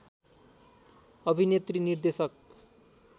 अभिनेत्री निर्देशक